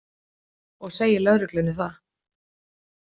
Og segir lögreglunni það.